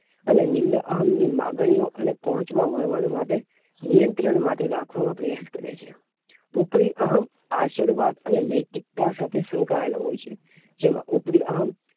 અને નીંદઅહં ની લાગણીઓ અને પહોંચવા વળવા નાં માટે અને નિયંત્રણ માટે રાખવામાં પ્રયાશ કરે છે ઉપરી અહં આશીર્વાદ અને નૈતિકતા સાથે સંકળાયેલા હોઈ છે જેમાં ઉપરી અહં